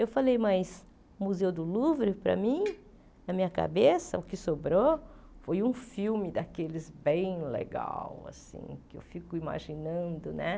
Eu falei, mas Museu do Louvre, para mim, na minha cabeça, o que sobrou foi um filme daqueles bem legais assim, que eu fico imaginando né.